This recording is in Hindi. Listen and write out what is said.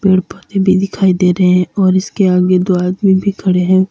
पेड़ पौधे भी दिखाई दे रहे हैं और उसके आगे दो आदमी भी खड़े हैं।